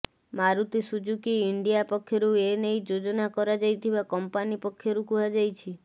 Maruti Suzuki India ପକ୍ଷରୁ ଏ ନେଇ ଯୋଜନା କରାଯାଇଥିବା କଂପାନୀ ପକ୍ଷରୁ କୁହାଯାଇଛି